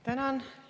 Tänan!